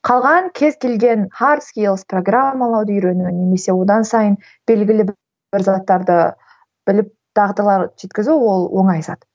қалған кез келген хард скилс программалауды үйрену немесе одан сайын белгілі бір заттарды біліп жеткізу ол оңай зат